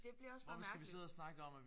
Det bliver også bare mærkeligt